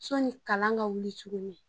Sɛni kalan ka wuli tukuni.